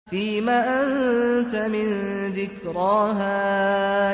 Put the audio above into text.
فِيمَ أَنتَ مِن ذِكْرَاهَا